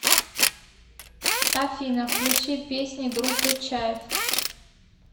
афина включи песни группы чайф